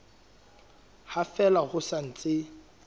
ha fela ho sa ntse